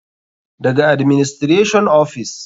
Daga administration ofis.